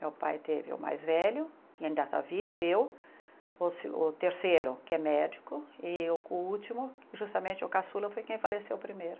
Meu pai teve o mais velho, que ainda está vivo, eu, o segun o terceiro, que é médico, e o último, justamente o caçula, foi quem faleceu primeiro.